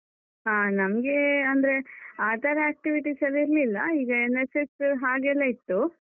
ಹ ನಮ್ಗೆ ಅಂದ್ರೆ ಆತರ activities ಎಲ್ಲ ಇರ್ಲಿಲ್ಲ, ಈಗ NSS ಹಾಗೆಲ್ಲ ಇತ್ತು.